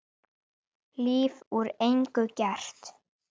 Líf úr engu gert.